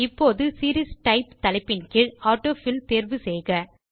இப்போது series type தலைப்பின் கீழ் ஆட்டோஃபில் தேர்வு செய்க